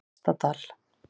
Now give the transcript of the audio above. Efstadal